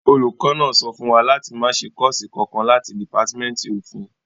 Olùkọ́ náà sọ fún wa láti máa ṣe kọ́ọ̀sì kankan láti dìpátímẹ́ǹtì òfin